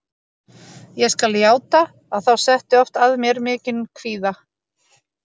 Ég skal játa að þá setti oft að mér mikinn kvíða.